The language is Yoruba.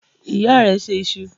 Ìyá rẹ se iṣu?